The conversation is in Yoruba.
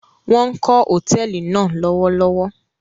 Wọn kó Hotẹẹli náa lọwọlọwọ